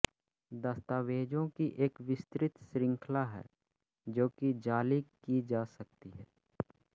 दस्तावेजों की एक विस्तृत श्रृंखला है जो कि जाली की जा सकती है